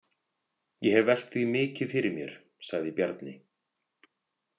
Ég hef velt því mikið fyrir mér, sagði Bjarni.